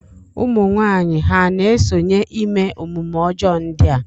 Ụmụnwaanyị ha na-esonye ime omume ọjọọ ndị a?